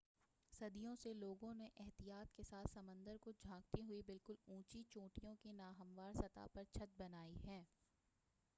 صدیوں سے لوگوں نے احتیاط کے ساتھ سمندر کو جھانکتی ہوئی بالکل اونچی چونٹیوں کی نا ہموار سطح پر چھت بنائی ہیں